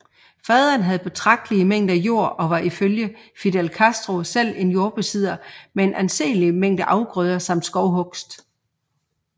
Faderen havde betragtelige mængder jord og var ifølge Fidel Castro selv en jordbesidder med en anselig mængde afgrøder samt skovhugst